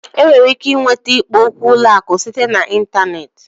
E nwere ike ịnweta ikpo okwu ụlọ akụ site na ịntanetị